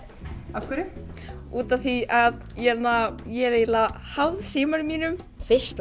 af hverju út af því að ég er eiginlega háð símanum fyrst